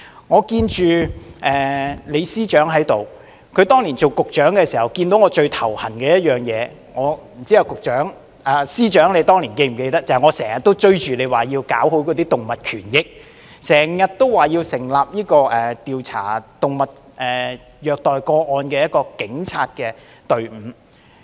我看到李司長在席，他當年擔任局長時看到我最感到頭痛的事情是——不知道司長是否記得——當年常常追着他要搞好動物權益，要求成立一個調查虐待動物個案的警察隊伍。